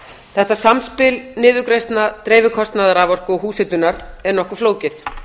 þetta samspil niðurgreiðslna dreifikostnaðar raforku og húshitunar er nokkuð flókið